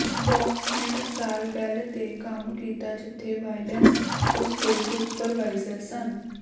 box ਨੇ ਟਕਸਾਲ Bell ਤੇ ਕੰਮ ਕੀਤਾ ਜਿੱਥੇ ਵਾਲਿੇਸ ਉਸ ਦੇ ਸੁਪਰਵਾਈਜ਼ਰ ਸਨ